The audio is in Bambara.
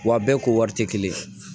Wa a bɛɛ ko wari tɛ kelen ye